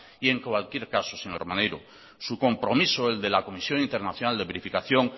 y en cualquier caso señor maneiro su compromiso el de la comisión internacional de verificación